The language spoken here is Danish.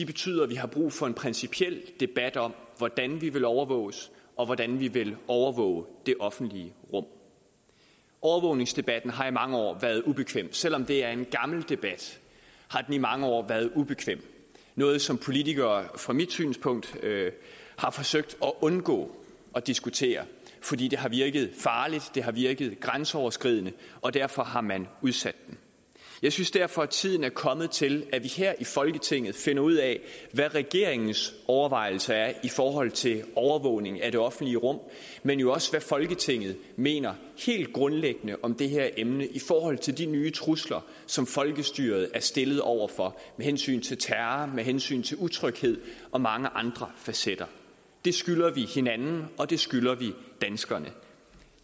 betyder at vi har brug for en principiel debat om hvordan vi vil overvåges og hvordan vi vil overvåge det offentlige rum overvågningsdebatten har i mange år været ubekvem selv om det er en gammel debat har den i mange år været ubekvem noget som politikere fra mit synspunkt har forsøgt at undgå at diskutere fordi det har virket farligt det har virket grænseoverskridende og derfor har man udsat den jeg synes derfor at tiden er kommet til at vi her i folketinget finder ud af hvad regeringens overvejelser er i forhold til overvågning af det offentlige rum men jo også hvad folketinget mener helt grundlæggende om det her emne i forhold til de nye trusler som folkestyret er stillet over for med hensyn til terror med hensyn til utryghed og mange andre facetter det skylder vi hinanden og det skylder vi danskerne